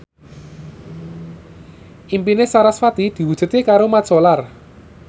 impine sarasvati diwujudke karo Mat Solar